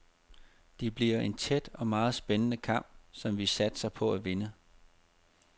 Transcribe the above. Det bliver en tæt og meget spændende kamp, som vi satser på at vinde.